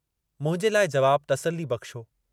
मुंहिंजे लाइ जवाबु तसलीबख़्शु हो।